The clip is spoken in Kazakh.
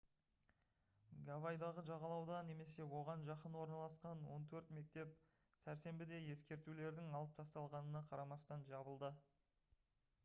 гавайдағы жағалауда немесе оған жақын орналасқан он төрт мектеп сәрсенбіде ескертулердің алып тасталғанына қарамастан жабылды